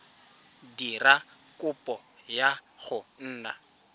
dira kopo ya go nna